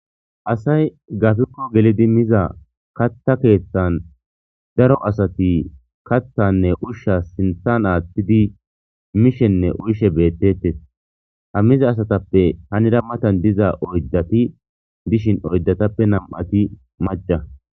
asay gafikko gelidi miza katha keeththan daro asati kaththanne ushsha sinthan aaththidi mishenne uyshe beettetes ha miza asatappe hanira matan diza oydati dishin oydatappe nam7ati maca